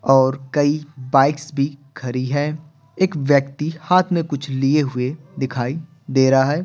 और कई बाइक्स भी खरी है एक व्यक्ति हाथ में कुछ लिए हुए दिखाई दे रहा है।